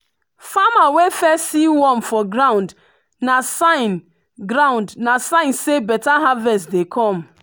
farmer wey first see worm for ground na sign ground na sign say better harvest dey come.